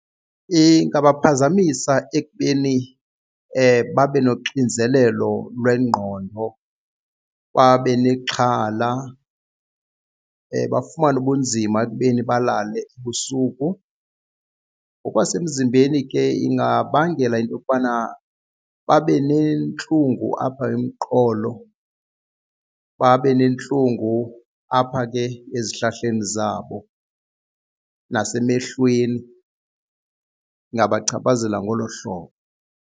Ingabaphazamisa ekubeni babe noxinzelelo lwengqondo babe nexhala bafumane ubunzima ekubeni balale ebusuku. Ngokwasemzimbeni ke ingabangela into yokubana babe nentlungu apha emqolo babe nentlungu apha ke ezihlahleni zabo nasemehlweni ingabachaphazela ngolo hlobo.